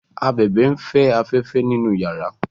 ábèbè n'fe aféfé nínú yàrá